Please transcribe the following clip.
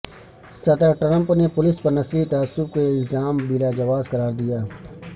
صدر ٹرمپ نے پولیس پر نسلی تعصب کے الزام بلاجواز قرار دیا